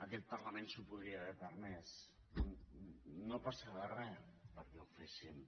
aquest parlament s’ho podria haver permès no passava res perquè ho féssim